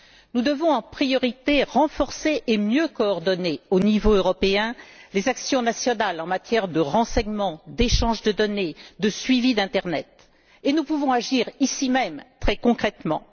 Nous devons en priorité renforcer et mieux coordonner au niveau européen les actions nationales en matière de renseignement, d'échange de données, de suivi d'internet et nous pouvons agir, ici même, très concrètement.